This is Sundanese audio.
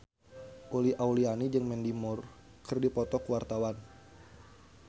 Uli Auliani jeung Mandy Moore keur dipoto ku wartawan